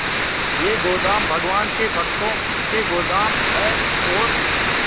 ये गोदाम भगवान के भक्तों के गोदाम है और